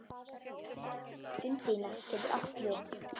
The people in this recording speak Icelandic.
Undína getur átt við